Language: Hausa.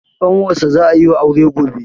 ƙanwarsa za a yi wa aure gobe